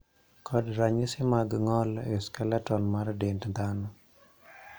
kod ranyisi mar ng;ol e skeleton mar dend dhano